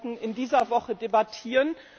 Wir sollten in dieser Woche darüber debattieren.